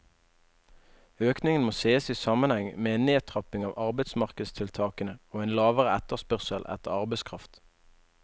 Økningen må ses i sammenheng med en nedtrapping av arbeidsmarkedstiltakene og en lavere etterspørsel etter arbeidskraft.